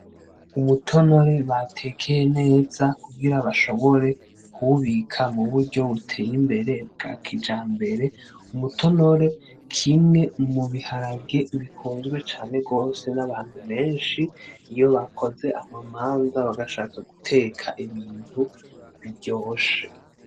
Umutonore batekeye neza kugira bashobore kuwubika mu buryo butey'imbere bwa kijambere. Umutonore kimwe mu biharagare bikunzwe cane gose n'abantu benshi, iyo bakoze ama manza bashatse guteka ibintu biryoshe.